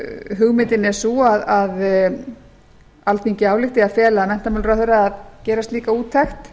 hugmyndin er sú að alþingi álykti að fela menntamálaráðherra að gera slíka úttekt